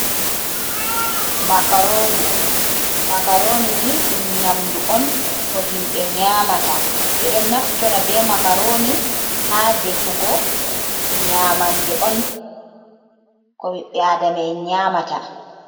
Makaroni: Makaroni ni ɗum nyamdu on ko himɓe nyamata. Ɓedo naftora be makaroni ha defugo nyamande on ko ɓiɓɓe Adama'en nyamata.